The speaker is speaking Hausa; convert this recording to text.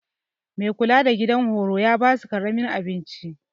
Mai kula da gidan horo ta basu karamin abinci.